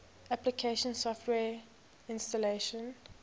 application software installation